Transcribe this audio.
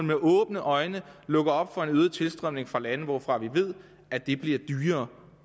med åbne øjne lukker op for en øget tilstrømning fra lande hvorfra vi ved at det bliver dyrere